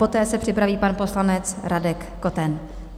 Poté se připraví pan poslanec Radek Koten.